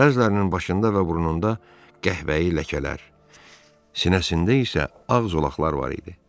Bəzilərinin başında və burnunda qəhvəyi ləkələr, sinəsində isə ağ zolaqlar var idi.